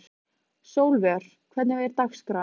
Sólvör, hvernig er dagskráin?